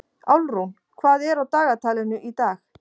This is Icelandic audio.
Álfrún, hvað er á dagatalinu í dag?